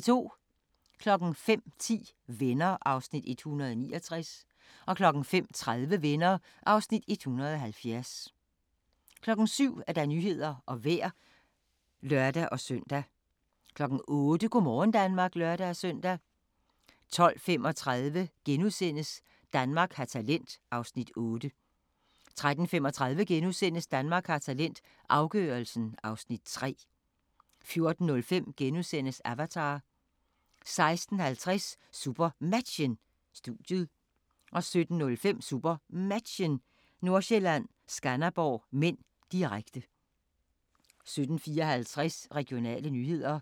05:10: Venner (169:235) 05:30: Venner (170:235) 07:00: Nyhederne og Vejret (lør-søn) 08:00: Go' morgen Danmark (lør-søn) 12:35: Danmark har talent (Afs. 8)* 13:35: Danmark har talent – afgørelsen (Afs. 3)* 14:05: Avatar * 16:50: SuperMatchen: Studiet 17:05: SuperMatchen: Nordsjælland-Skanderborg (m), direkte 17:54: Regionale nyheder